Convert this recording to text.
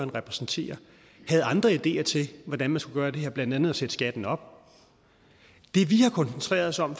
repræsenterer havde andre ideer til hvordan man skulle gøre det her blandt andet at sætte skatten op det vi har koncentreret os om